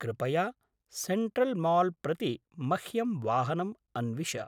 कृपया सेण्ट्रल्माल् प्रति मह्यं वाहनम् अन्विश।